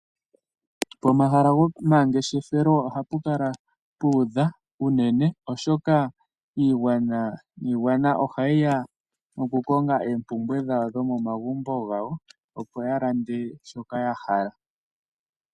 Pomahala gomangeshefelo ohapu kala puudha unene oshoka iigwana niigwana oha yi ya oku konga oompumbwe dhawo dho momagumbo gadho, opo ya lande shoka ya hala.